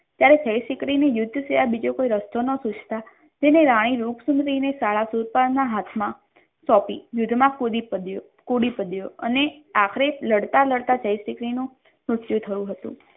ત્યારે જયશિખરી ની યુદ્ધ સિવાય બીજો કોઈ રસ્તો નહોતો તેને રાણી રૂપસુંદરી શાળા સુરપાલ ના હાથમાં સોંપી યુદ્ધમાં કૂદી પડ્યો કૂદી પડ્યો અને આખરે લડતા લડતા જય શિખરી નું મૃત્યુ થયું હતું.